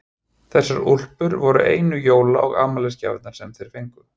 Þessar úlpur voru einu jóla- og afmælisgjafirnar sem þeir fengu.